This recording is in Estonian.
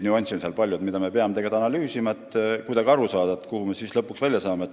Nüansse on seal palju ja neid me peamegi analüüsima, et aru saada, kuhu me siis lõpuks välja jõuame.